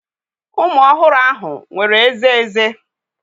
Ụmụ ọhụrụ ahụ nwere ezé ezé.